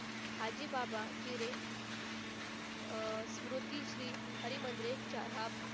हाजी बाबा जिरे अह स्मृती श्री हरी मंदरे च्या,